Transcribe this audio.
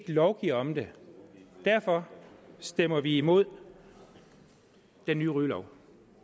lovgive om det derfor stemmer vi imod den nye rygelov